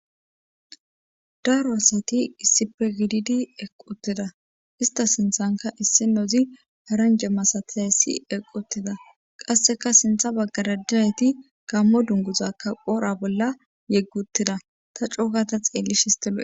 daro asati issippe gididi eqqi utida ista sinthanka issinozi paranja masatiya assi eqqi utida qasseka sintha baggara nayti gammo dunguzakka qora bolla yeggi utida ta coogata xeellishin istafe